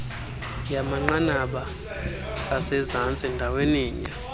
yabakumanqanaba asezantsi ndaweninye